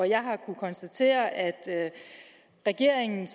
jeg har kunnet konstatere at man i regeringen